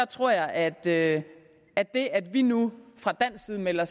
tror at det at det at vi nu fra dansk side melder